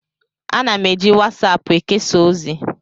Ana m eji wasaapụ ekesa ozi.